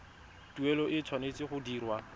tuelo e tshwanetse go dirwa